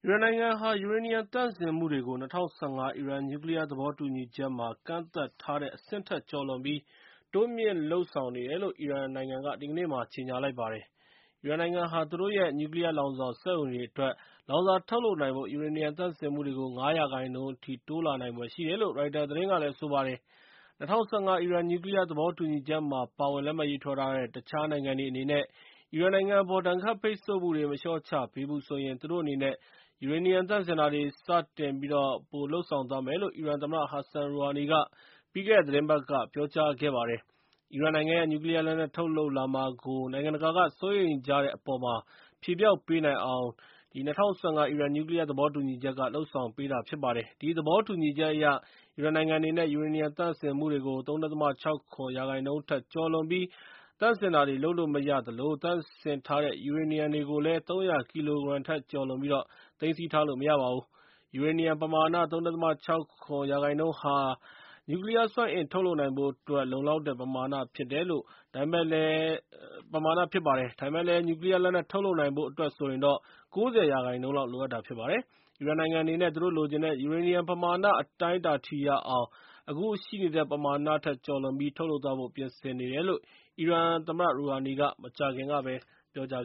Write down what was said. ရန်နိုင်ငံဟာ ယူရေနီယံသန့်စင်မှုတွေကို ၂၀၁၅ အီရန် နျူးကလီးယား သဘောတူညီချက်မှာကန့်သတ်ထားတဲ့ အဆင့်ထက်ကျော်လွန် တိုးမြှင့်ပြီး လုပ်ဆောင်နေတယ်လို့ အီရန်နိုင်ငံ က ဒီကနေ့မှာ ကြေညာလိုက်ပါတယ်။ အီရန်နိုင်ငံဟာ သူတို့ရဲ့ နျူးကလီးယား လောင်စာစက်ရုံ တွေအတွက် လောင်စာထုတ်လုပ်နိုင်ဖို့ ယူရေနီယံသန့်စင်မှုတွေကို ၅ % အထိ တိုးလာနိုင်ဖွယ်ရှိတယ်လို့ ရိုက်တာသတင်းက ဆိုပါတယ်။ ၂၀၁၅ အီရန်နျူးကလီးယား သဘောတူညီချက်မှာပါဝင် လက်မှတ်ရေးထိုးထားတဲ့ တခြားနိုင်ငံတွေ အနေနဲ့ အီရန်နိုင်ငံအပေါ် ဒဏ်ခတ်ပိတ်ဆို့မှုတွေ မလျှော့ချပေးဘူးဆိုရင် သူတို့အနေနဲ့ ယူရေနီယံသန့်စင်တာတွေကို စတင်ပြီး ပိုလုပ်ဆောင်သွားမယ်လို့ အီရန်သမ္မတ ဟာဆန်ရူဟာနီက ပြီးခဲ့တဲ့သီတင်းပတ်က ပြောကြားလိုက်ပါတယ်။ အီရန်နိုင်ငံရဲ့ နျူးကလီးယားလက်နက်ထုတ်လုပ်မှာကို နိုင်ငံတကာစိုးရိမ်ကြတဲ့အပေါ်မှာ ဖြေဖျောက်ပေးနိုင်အောင် ဒီသဘောတူညီချက်က လုပ်ဆောင်ပေးတာဖြစ်ပါတယ်။ ဒီသဘောတူညီချက်အရ၊ အီရန်နိုင်ငံအနေနဲ့ ယူရေနီယံသန့်စင်မှုတွေကို ၃.၆၇ % ထက် ကျော်လွန်ပြီး သန့်စင်တာတွေလုပ်လို့မရသလို၊ သန့်စင်ထားတဲ့ ယူရေနီယံတွေကိုလည်း ၃၀၀ ကီလီုဂရမ်ထက်ကျော်လွန်ပြီး သိမ်းဆည်းထားလို့မရပါဘူး။ ယူရေနီယံပမာဏ ၃.၆၇ % ဟာ နျူးကလီးယားစွမ်းအင်ထုတ်လုပ်ဖို့အတွက် လုံလောက်တဲ့ ပမာဏဖြစ်ပါတယ်။ ဒါပေမဲ့လည်း နျူးကလီးယားလက်နက်ထုတ်လုပ်နိုင်ဖို့အတွက်တော့ ၉၀ % လောက် လိုအပ်တာဖြစ်ပါတယ်။ အီရန်နိုင်ငံအနေနဲ့ သူတို့လိုချင်တဲ့ ယူရေနီယံ ပမာဏ အတိုင်းအတာထိရအောင် အခုရှိနေတဲ့ ၃.၆၇ % ထက်ကျော်လွန်ပြီး ထုတ်လုပ်သွားဖို့အတွက် ပြင်ဆင်နေတယ်လို့ အီရန်သမ္မတရူဟာနီက မကြာသေးခင်ကပဲ ပြောကြား